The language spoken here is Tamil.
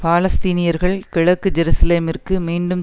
பாலஸ்தீனியர்கள் கிழக்கு ஜெருசலேத்திற்கு மீண்டும்